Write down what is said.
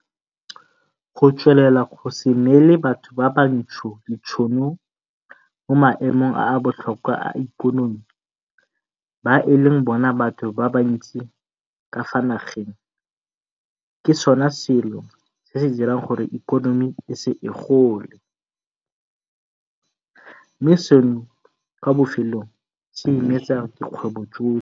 Go tswelela go se neele batho ba bantsho ditšhono mo maemong a a botlhokwa a ikonomi ba e leng bona batho ba bantsi ka fa nageng ke sona selo se se dirang gore ikonomi e se gole, mme seno kwa bofelong se imetsa dikgwebo tsotlhe.